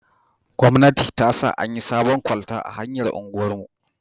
Gwamnati ta sa an yi sabon kwalta a hanyar unguwar mu